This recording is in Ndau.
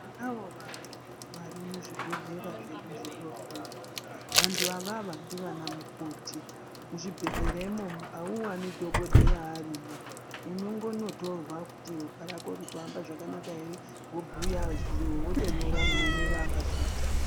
Tinavo vantu varimuzvibhedhlera zvedu zvidoko. Vantu avava ndivanamukoti. Muzvhibhedhlera imomo hawuwani dhokodheya arimo. Unongonotorwa kuti ropa rako ririkuhamba zvakanaka here, wobuya zvimwe wotonyora maonero avazvita.